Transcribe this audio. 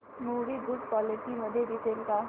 movie good quality मध्ये दिसेल का